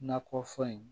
Nakɔfɛn in